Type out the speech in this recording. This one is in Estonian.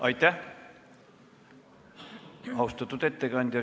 Aitäh, austatud ettekandja!